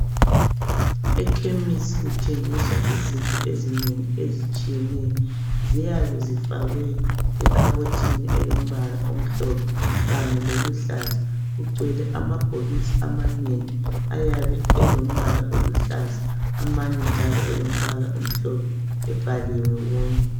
Ekhemisi kuthengiswa izinto ezinengi ezitshiyeneyo. Ziyabe zifakwe ekhabothini elombala omhlophe kanye loluhlaza. Kugcwele amabhokisi amanengi yabe elombala oluhlaza amanye njalo elombala omhlophe ebhaliwe wonke.